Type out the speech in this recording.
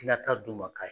I ka taa d'u ma k'a